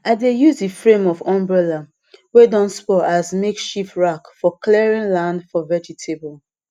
i dey use the frame of umbrella wey don spoil as makeshift rake for clearing land for vegetable